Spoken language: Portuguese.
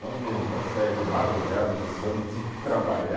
De vez em quando saía de madrugada do samba e tinha que trabalhar.